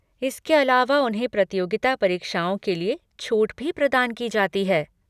इसके अलावा उन्हें प्रतियोगिता परीक्षाओं के लिए छूट भी प्रदान की जाती है।